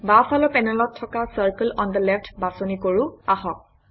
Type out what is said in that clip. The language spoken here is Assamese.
বাওঁফালৰ পেনেলত থকা চাৰ্কেল অন থে লেফ্ট বাছনি কৰোঁ আহক